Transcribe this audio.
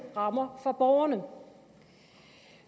rammer for borgerne